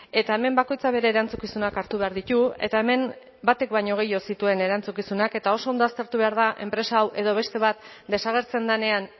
eta hemen bakoitzak bere erantzukizunak hartu behar ditu eta hemen batek baino gehiago zituen erantzukizunak eta oso ondo aztertu behar da enpresa hau edo beste bat desagertzen denean